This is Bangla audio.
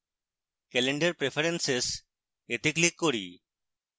calendar preferences এ click করি